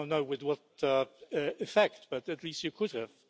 I don't know with what effect, but at least you could have.